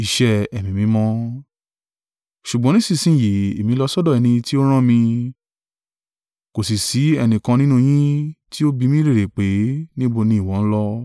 “Ṣùgbọ́n nísinsin yìí èmi ń lọ sọ́dọ̀ ẹni tí ó rán mi; kò sì sí ẹnìkan nínú yín tí ó bi mí lérè pé, ‘Níbo ni ìwọ ń lọ?’